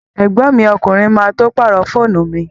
Ẹ̀gbọ́n mi ọkùnrin má tó pàrọ̀ fóònù mi